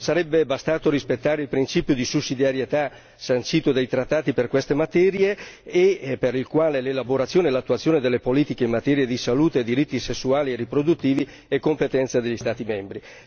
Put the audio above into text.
sarebbe bastato rispettare il principio di sussidiarietà sancito dai trattati per queste materie e per il quale l'elaborazione e l'attuazione delle politiche in materia di salute e diritti sessuali e riproduttivi è competenza degli Stati membri.